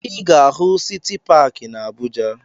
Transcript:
Ị ga-ahụ Siti Paakị na Abuja